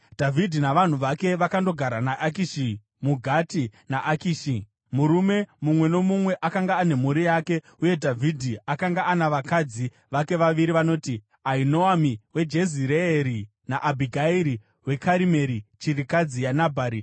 Dhavhidhi navanhu vake vakandogara muGati naAkishi. Murume mumwe nomumwe akanga ane mhuri yake, uye Dhavhidhi akanga ana vakadzi vake vaviri vanoti: Ahinoami weJezireeri naAbhigairi weKarimeri, chirikadzi yaNabhari.